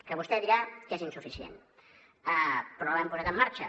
que vostè dirà que és insuficient però l’hem posat en marxa